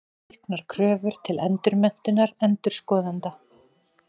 Auknar kröfur til endurmenntunar endurskoðenda.